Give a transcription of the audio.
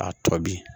A tɔ bi